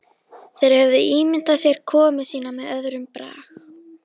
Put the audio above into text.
Þeir höfðu ímyndað sér komu sína með öðrum brag.